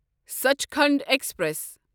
Sachkhand express